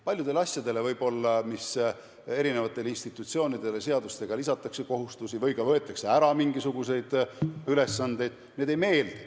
Paljud asjad, mis eri institutsioonidele seadustega tehakse, lisatakse kohustusi või ka võetakse ära mingisuguseid ülesandeid, ei meeldi.